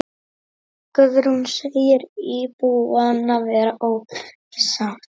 Guðrún segir íbúana vera ósátta.